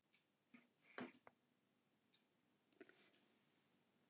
Heimir Már Pétursson: Hvaða þýðingu hefur niðurstaða þessa útboðs?